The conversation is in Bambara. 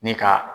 Ni ka